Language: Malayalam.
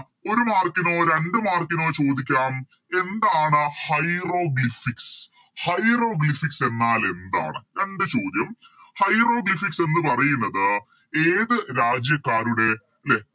ഒരു Mark നോ രണ്ട് Mark നോ ചോദിക്കാം എന്താണ് Hieroglyphics hieroglyphics എന്നാലെന്താണ് രണ്ട് ചോദ്യം Hieroglyphics എന്ന് പറയുന്നത് ഏത് രാജ്യക്കാരുടെ ലെ